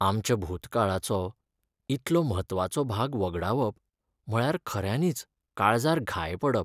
आमच्या भुतकाळाचो इतलो म्हत्वाचो भाग वगडावप म्हळ्यार खऱ्यांनीच काळजार घाय पडप.